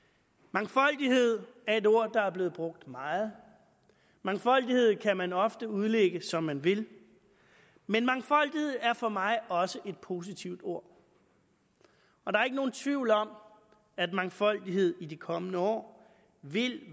mangfoldighed er et ord der er blevet brugt meget mangfoldighed kan man ofte udlægge som man vil men mangfoldighed er for mig også et positivt ord og der er ikke nogen tvivl om at mangfoldighed i de kommende år vil